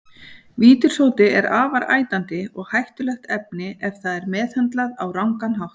Vítissódi er afar ætandi og hættulegt efni ef það er meðhöndlað á rangan hátt.